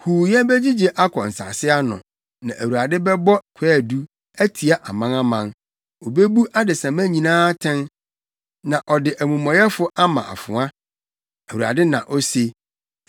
Huuyɛ begyigye akɔ nsase ano, na Awurade bɛbɔ kwaadu, atia amanaman; obebu adesamma nyinaa atɛn na ɔde amumɔyɛfo ama afoa,’ ” Awurade na ose.